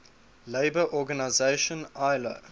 labour organization ilo